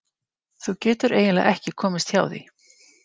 Þú getur eiginlega ekki komist hjá því.